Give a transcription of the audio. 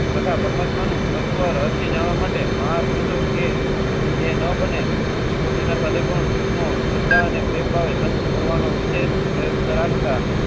તત્વ રહસ્ય જાણવા માટે. એન ઓ બને તો કુછ. તને પ્રેમભાવે સંગ કરવાનો વિશેષ પ્રયત્ન રાખતા.